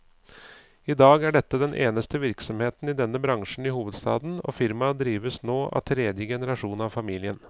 I dag er dette den eneste virksomheten i denne bransjen i hovedstaden, og firmaet drives nå av tredje generasjon av familien.